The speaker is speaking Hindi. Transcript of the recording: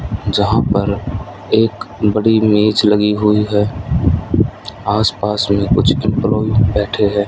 जहां पर एक बड़ी मेज़ लगी हुई है आस पास में कुछ एम्प्लोयी बैठे हैं।